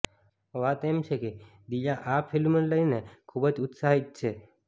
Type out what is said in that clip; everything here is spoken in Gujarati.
વાત એમ છે કે દિયા આ ફિલ્મને લઈને ખૂબ જ ઉત્સાહિત છે